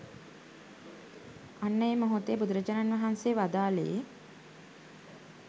අන්න ඒ මොහොතේ බුදුරජාණන් වහන්සේ වදාළේ